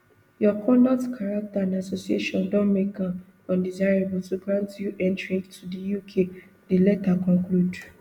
your conduct character and associations don make am undesirable to grant you entry to di uk di letter conclude